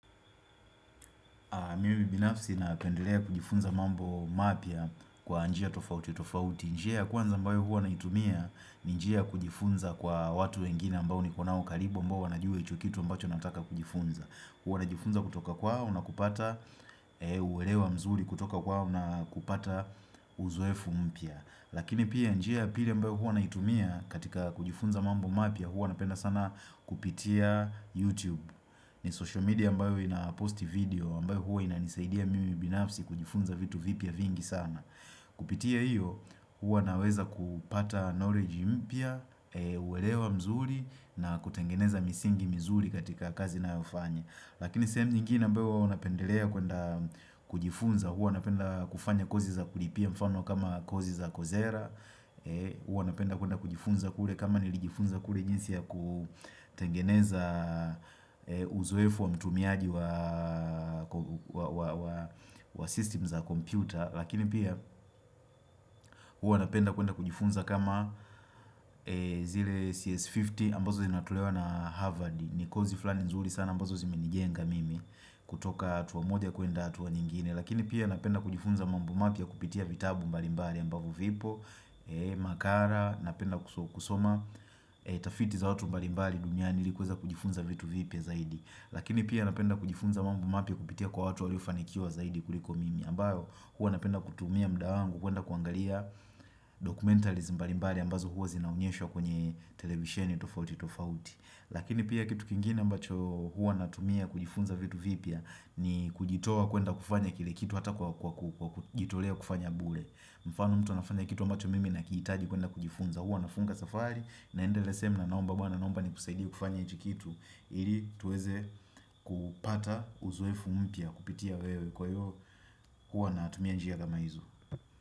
Mimi binafsi na pendlea kujifunza mambo mapia kwa anjia tofauti tofauti njia kwanza mbao hua naitumia njia kujifunza kwa watu wengine ambao ni konao karibu mbao wanajiuwe chukitu ambacho nataka kujifunza huo anajifunza kutoka kwa hau Una kupata uwelewa mzuri kutoka kwa hau Una kupata uzoefu mpia Lakini pia njia pili ambayo hua naitumia katika kujifunza mambo mapia huo anapenda sana kupitia YouTube ni social media ambayo inaposti video Mbae huwa inanisaidia mimi binafsi kujifunza vitu vipia vingi sana Kupitia hiyo huwa naweza kupata knowledge mpya uwelewa mzuri na kutengeneza misingi mzuri katika kazi na ufanya Lakini semu ngini mbae huwa unapendelea kujifunza huwa unapenda kufanya kozi za kulipia mfano kama kozi za kozera huwa unapenda kujifunza kule kama nilijifunza kule jinsi ya kutengeneza Uzoefu wa mtumiaji wa wa Systems za computer Lakini pia huwa napenda kuenda kujifunza kama zile CS50 ambazo zinatulewa na Harvard ni kozi fulani nzuri sana ambazo zimenijenga mimi kutoka Tuamode ya kuenda atuwa nyingine Lakini pia napenda kujifunza mambu mapia kupitia vitabu mbalimbari ambavu vipo Makara napenda kusoma Tafiti za watu mbalimbari Dunyani likuweza kujifunza vitu vipya zaidi Lakini pia napenda kujifunza mambu mapi kupitia kwa watu walifanikiuwa zaidi kuliko mimi ambayo hua napenda kutumia mdaangu kuenda kuangalia dokumentalism balimbari ambazo hua zinaunyesho kwenye televisheni tofauti tofauti Lakini pia kitu kingine ambacho hua natumia kujifunza vitu vipia ni kujitowa kuenda kufanya kile kitu hata kwa kujitolea kufanya bule Mfano mtu nafanya kitu ambacho mimi na kiitaji kuenda kujifunza huo nafunga safari na endele semna naomba wana naomba ni kusaidia kufanya itikitu ili tuweze kupata uzwefumipia kupitia wewe kwa yo kuwa na atumia njia gama izu.